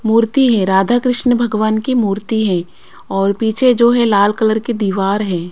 मूर्ति है राधा कृष्ण भगवान की मूर्ति है और पीछे जो है लाल कलर की दीवार है।